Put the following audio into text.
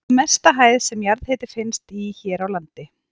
Er það mesta hæð sem jarðhiti finnst í hér á landi.